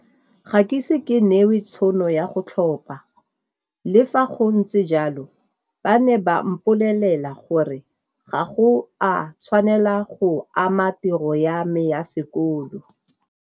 Ga ke ise ke newe tšhono ya go tlhopa, le fa go ntse jalo ba ne ba mpolelela gore gago a tshwanela go ama tiro ya me ya sekolo.